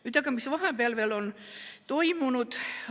Nüüd aga, mis vahepeal on toimunud?